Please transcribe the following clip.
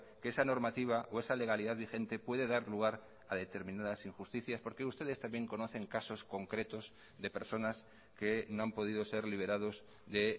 que esa normativa o esa legalidad vigente puede dar lugar a determinadas injusticias porque ustedes también conocen casos concretos de personas que no han podido ser liberados de